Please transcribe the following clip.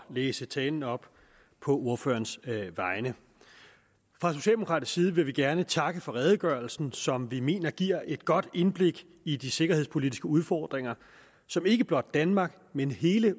læse talen op på ordførerens vegne fra socialdemokratisk side vil vi gerne takke for redegørelsen som vi mener giver et godt indblik i de sikkerhedspolitiske udfordringer som ikke blot danmark men hele